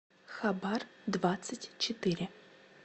хабар двадцать четыре